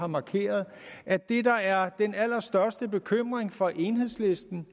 markerede at det der er den allerstørste bekymring for enhedslisten